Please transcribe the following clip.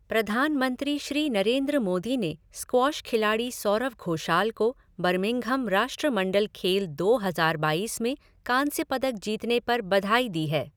प्रधानमंत्री श्री नरेन्द्र मोदी ने स्क्वॉश खिलाड़ी सौरव घोषाल को बर्मिंघम राष्ट्रमंडल खेल दो हज़ार बाईस में कांस्य पदक जीतने पर बधाई दी है।